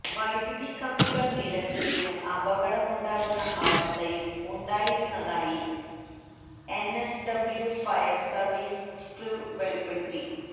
വൈദ്യുതി കമ്പികൾ നിലത്ത് വീണ് അപകടമുണ്ടാകുന്ന അവസ്ഥയും ഉണ്ടായിരുന്നതായി എൻഎസ്ഡബ്ല്യൂ ഫയർ സർവീസ് ക്രൂ വെളിപ്പെടുത്തി